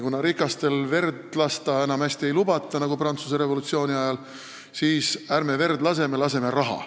Kuna rikastel verd lasta, nagu tehti Prantsuse revolutsiooni ajal, enam hästi ei lubata, siis ärme verd laseme, laseme raha.